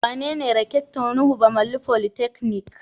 Wanene Rector Nuhu Bamalli polytechnic?